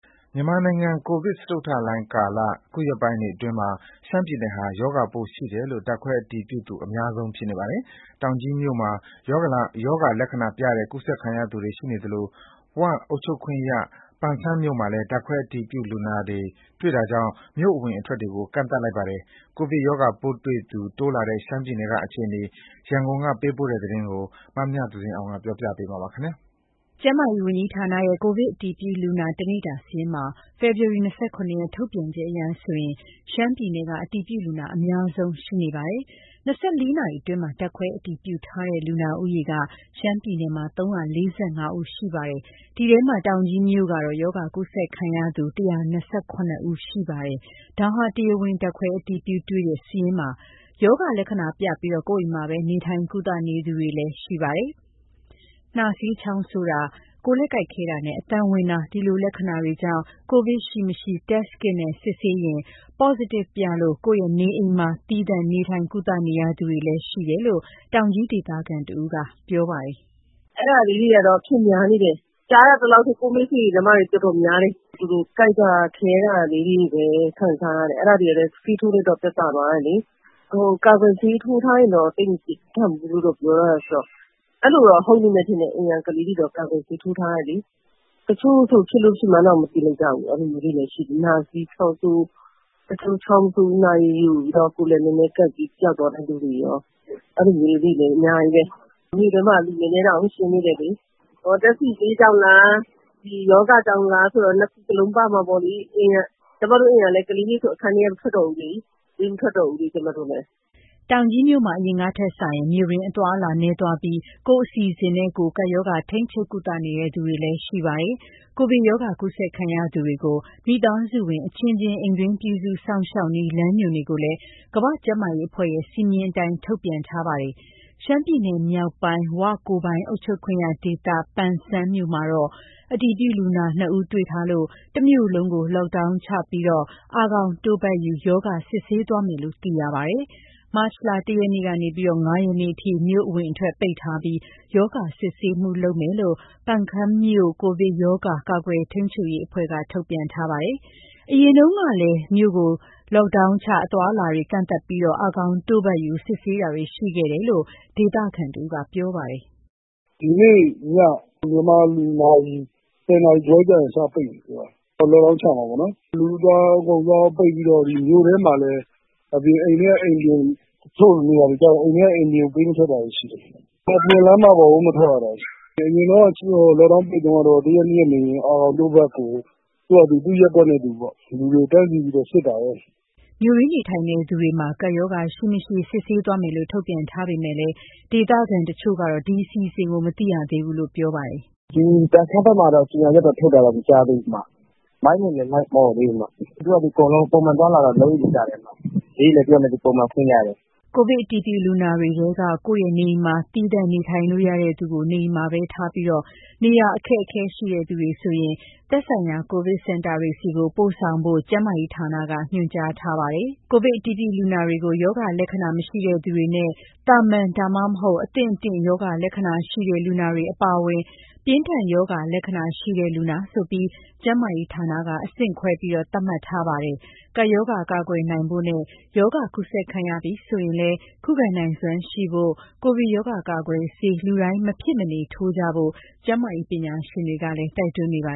မြန်မာနိုင်ငံအတွင်း ကိုဗစ်စတုတ္ထလှိုင်းကာလ အခုရက်ပိုင်းအတွင်းမှာ ရှမ်းပြည်နယ်ဟာ ရော ဂါပိုးရှိတယ်လို့ ဓါတ်ခွဲအတည်ပြုသူအများဆုံးဖြစ်နေပါတယ်။ တောင်ကြီးမြို့မှာ ရောဂါလက္ခဏာပြတဲ့ ကူးစက်ခံရသူတွေရှိနေသလို ဝ အုပ်ချုပ်ခွင့်ရ ပန်ဆန်းမြို့မှုလည်း ဓါတ်ခွဲအတည်ပြုလူနာတွေ့တာကြောင့် မြို့အဝင်အထွက်တွေကို ကန့်သတ်လိုက်ပါတယ်။ ကိုဗစ်ရောဂါပိုးတွေ့သူ တိုးလာတဲ့ ရှမ်းပြည်နယ်ကအခြေအနေ ရန်ကုန်ကနေ သတင်းပေးပို့တာကို မမြသဇင်အောင်က တင်ပြပေးထားပါတယ်။ ကျန်းမာရေးဝန်ကြီးဌာနရဲ့ ကိုဗစ်အတည်ပြုလူနာ တနေ့တာစာရင်းမှာ ဖေဖော်ဝါရီလ ၂၇ ရက် ထုတ်ပြန်ချက်အရ ရှမ်းပြည်နယ်က အတည်ပြုလူနာ အများဆုံးရှိနေတာပါ။ ၂၄ နာရီအတွင်း ဓာတ်ခွဲအတည်ပြုထားတဲ့ လူနာဦးရေက ရှမ်းပြည်နယ်မှာ ၃၄၅ ဦး ရှိပါတယ်။ အဲဒီထဲမှာ တောင်ကြီးမြို့ကတော့ ရောဂါကူးစက်ခံရသူ ၁၂၇ ဦး ပါဝင်ပါတယ်။ ဒါဟာ တရားဝင် ဓါတ်ခွဲအတည်ပြု တွေ့ရှိတဲ့စာရင်းပါ။ ရောဂါလက္ခဏာပြပြီး ကိုယ့်အိမ်မှာပဲ နေထိုင်ကုသနေသူတွေလည်းရှိပါတယ်။ နှာစေး ချောင်းဆိုးတာ၊ ကိုယ်လက်ကိုက်ခဲတာနဲ့ အသံဝင်တာ ဒီလိုလက္ခဏာတွေကြောင့် ကိုဗစ်ရှိ မရှိ Test kit နဲ့ စစ်ဆေးရင်း Positive ထွက်လို့ ကိုယ့်ရဲ့နေအိမ်မှာ သီးသန့်နေထိုင် ကုသနေရသူတွေလည်း ရှိတယ်လို့ တောင်ကြီးဒေသခံတဦးက ပြောပါတယ်။ "အဲဒါလေးတွေကတော့ အဖြစ်များနေတယ်။ ကြားရသလောက်ဆို ကိုယ့်မိတ်ဆွေတွေထဲမှာတင် တော်တော်များတယ်။ သူတို့ ကိုက်တာခဲတာလေးတွေလည်း ခံစားရတယ်။ အဲဒါလေးတွေလည်း ဆေးထိုးလိုက်တော့ သက်သာသွားတယ်လေ။ ကာကွယ်ဆေးထိုးထားရင်တော့ သိပ် မခံရဘူးလို့ ပြောထားတယ်ဆိုတော့ အဲလိုတော့ ဟုတ်လိမ့်မယ်ထင်တယ်။ အိမ်က ကလေးတွေတော့ ကာကွယ်ဆေးထိုးထားတယ်လေ။ တချို့ဆို ဖြစ်လို့ဖြစ်မှန်းတောင် မသိလိုက်ကြဘူး။ အဲလိုမျိုးလေးတွေလည်း ရှိတယ်။ နှာစေး၊ ချောင်းဆိုး၊ နှာရည်ယိုပြီးတော့ ကိုယ် လက် နည်းနည်းကိုက်ပြီးတော့ ပျောက်သွားတဲ့လူတွေရော၊ အဲလိုမျိုးလေးတွေလည်း အများကြီးပဲ။ မြို့ထဲမှာဆို လူနည်းနည်းတောင် ရှင်းသေးတယ်လေ။ ဓာတ်ဆီဈေးကြောင့်လား၊ ဒီရောဂါကြောင့်လားဆိုတာ နှစ်ခုစလုံးပါမှာပေါ့လေ။ ကျမတို့အိမ်ကဆို ကလေးတွေလည်း အခန်းထဲက မထွက်တော့ဘူးလေ၊ ကျမတို့လည်း ပေးမထွက်တော့ဘူး။" တောင်ကြီးမြို့မှာ အရင်ကထက်စာရင် မြို့တွင်းအသွားအလာ နည်းသွားပြီး ကိုယ့်အစီအစဉ်နဲ့ကိုယ် ကပ်ရောဂါထိန်းချုပ် ကုသနေသူတွေလည်း ရှိပါတယ်။ ကိုဗစ်ရောဂါ ကူးစက်ခံရသူတွေကို မိသားစုဝင်အချင်းချင်း အိမ်တွင်းပြုစုစောင့်ရှောက်နည်း လမ်းညွှန်တွေကိုလည်း ကမ္ဘာ့ ကျန်းမာရေးအဖွဲ့ရဲ့ စည်းမျဉ်းအတိုင်း ထုတ်ပြန်ထားတာရှိပါတယ်။ ရှမ်းပြည်နယ်မြောက်ပိုင်း၊ ဝ ကိုယ်ပိုင်အုပ်ချုပ်ခွင့်ရဒေသ ပန်ဆန်း မြို့မှာတော့ အတည်ပြုလူနာနှစ်ဦး တွေ့ထားလို့ တမြို့လုံးကို လော့ဒေါင်းချပြီး အာခေါင်တို့ပတ်ယူ ရောဂါစစ်ဆေးသွားမယ်လို့ သိရပါတယ်။ မတ်လ ၁ ရက်နေ့ကနေ ၅ ရက်နေ့အထိ မြို့အဝင်အထွက်ပိတ်ထားပြီး ရောဂါစစ်ဆေးမှုလုပ်မယ်လို့ ပန်ခမ်းမြို့ ကိုဗစ်ရောဂါ ကာကွယ်ထိန်းချုပ်ရေးအဖွဲ့က ထုတ်ပြန်ထားပါတယ်။ အရင်တုန်းကလည်း မြို့ကိုလော့ဒေါင်းချပြီး အာခေါင်တို့ပတ်ယူ စစ်ဆေးတာတွေရှိခဲ့တယ်လို့ ဒေသခံတဦးက ပြောပါတယ်။ "ဒီနေ့ည မြန်မာစံတော်ချိန် ၁၀ နာရီခွဲလောက်ကျရင် စပိတ်မယ်ပြောတယ်။ လော့ဒေါင်းချ မှာပေါ့နော်။ လူသွားရော၊ ကုန်သွားရော ပိတ်ပြီးတော့ မြို့ထဲမှာလည်း တချို့နေရာတွေကျတော့ အိမ်ထဲက အိမ်ပြင်ပေးမထွက်တာလည်း ရှိတယ်။ အပြင်လမ်းမပေါ်ကို မထွက်ရတော့ဘူး။ အရင်တုန်းက လော့ဒေါင်းပိတ်တုန်းကတော့ တရက်၊ နှစ်ရက်နေရင် အာခေါင်တို့ပတ်ကို သူ့ရပ်ကွက်နဲ့သူပေါ့ လူတွေကို တန်းစီပြီးတော့ စစ်တာပဲ။" မြို့တွင်းနေထိုင်သူတွေမှာ ကပ်ရောဂါရှိ၊ မရှိ စစ်ဆေးသွားမယ်လို့ ထုတ်ပြန်ထားပေမယ့်လည်း ဒေသခံတချို့ကတော့ ဒီအစီအစဉ်ကို မသိရသေးဘူးလို့ ပြောပါတယ်။ "ဒီပန်ခမ်းဘက်မှာတော့ ကြေညာချက်တော့ ထုတ်တာတော့ မကြားသေးဘူး။ မိုက်နဲ့လည်း လိုက်မအော်သေးဘူး။ သူ့ဟာသူ အကုန်လုံး ပုံမှန်အသွားအလာ လုပ်နေကြတုန်းပဲ။ ဈေးလည်း သူ့ဟာနဲ့သူ ပုံမှန်ဖွင့်ကြတယ်။ " ကိုဗစ်အတည်ပြုလူနာတွေထဲက ကိုယ့်ရဲ့နေအိမ်မှာ သီးသန့်နေထိုင်လို့ရတဲ့သူကို နေအိမ်မှာသာထားပြီး နေရာအခက်အခဲရှိသူတွေဆိုရင်တော့ သက်ဆိုင်ရာ ကိုဗစ်စင်တာတွေဆီ ပို့ဆောင်ဖို့ ကျန်းမာရေးဌာနက ညွှန်ကြားထားပါတယ်။ ကိုဗစ်အတည်ပြုလူနာတွေကို ရောဂါလက္ခဏာမရှိသူတွေနဲ့ သာမန် ဒါမှမဟုတ် အသင့်အတင့်ရောဂါလက္ခဏာရှိတဲ့ လူနာတွေအပါအဝင် ပြင်းထန်ရောဂါလက္ခဏာရှိတဲ့ လူနာဆိုပြီး ကျန်းမာရေးဌာနက အဆင့်ခွဲ သတ်မှတ်ထားပါတယ်။ ကပ်ရောဂါ ကာကွယ်နိုင်ဖို့နဲ့ ရောဂါကူးစက်ခံရပြီဆိုရင်လည်း ခုခံနိုင်စွမ်းရှိဖို့ ကိုဗစ်ရောဂါကာကွယ်ဆေး လူတိုင်းမဖြစ်မနေထိုးကြဖို့ ကျန်းမာရေးပညာရှင်တွေကလည်း တိုက်တွန်းနေပါ